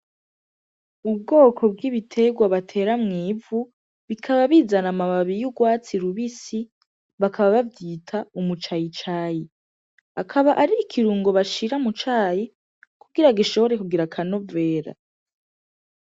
Ubwoko bw'ibiterwa batera mw'ivu bikaba bizana amababi y'urwatsi rubisi bakaba bavyita umu cayicayi akaba ar'ikirungo bashira mu cayi kugira gishobore kugira akanovera.